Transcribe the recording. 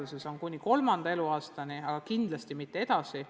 See on siis kuni kolmanda eluaastani, aga kindlasti mitte edasi.